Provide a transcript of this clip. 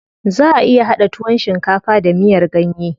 Zaʼa iya haɗa tuwon shinkafa da miyar ganye.